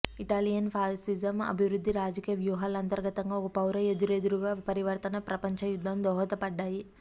Italian ఫాసిజం అభివృద్ధి రాజకీయ వ్యూహాలు అంతర్గతంగా ఒక పౌర ఎదురెదురుగా పరివర్తన ప్రపంచ యుద్ధం దోహదపడ్డాయి